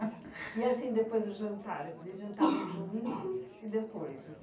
E assim, depois do jantar, vocês jantavam juntos e depois?